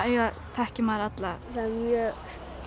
þekkir maður alla það er mjög